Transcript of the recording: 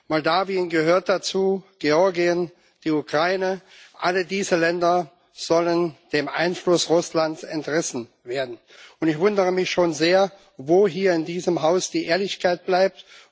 Moldau gehört dazu, Georgien und die Ukraine alle diese Länder sollen dem Einfluss Russlands entrissen werden. Ich wundere mich schon sehr, wo hier in diesem Haus die Ehrlichkeit bleibt.